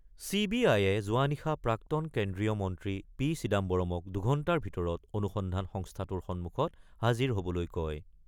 C B আয়ে যোৱা নিশা প্ৰাক্তন কেন্দ্ৰীয় মন্ত্ৰী পি চিদাম্বৰৰ্মক দুঘণ্টাৰ ভিতৰত অনুসন্ধান সংস্থাটোৰ সন্মুখত হাজিৰ হ'বলৈ কয়।